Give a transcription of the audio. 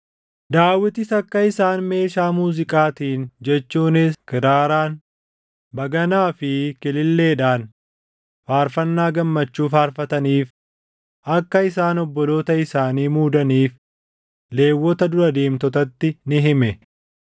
Daawitis akka isaan meeshaa muuziiqaatiin jechuunis kiraaraan, baganaa fi kililleedhaan faarfannaa gammachuu faarfataniif akka isaan obboloota isaanii muudaniif Lewwota dura deemtotatti ni hime.